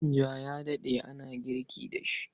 Manja ya daɗe ana girki da shi.